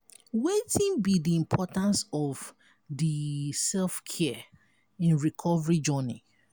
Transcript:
wetin be di importance of di self-care in recovery journey?